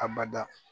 A bada